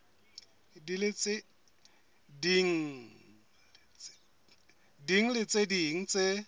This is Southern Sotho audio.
ding le tse ding tse